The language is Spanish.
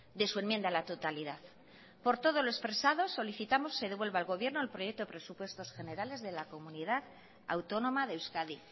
de su enmienda a la totalidad por todo lo expresado solicitamos se devuelva al gobierno el proyecto presupuestos generales de la comunidad autónoma de euskadi